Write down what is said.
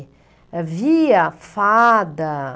Via fada.